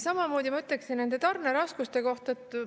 Sama ma ütleksin nende tarneraskuste kohta.